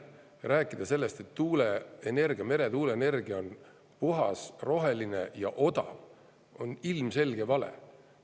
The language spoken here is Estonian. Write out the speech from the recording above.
Rääkida sellest, et tuuleenergia, meretuuleenergia on puhas, roheline ja odav, on ilmselge vale.